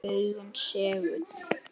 Augun segull.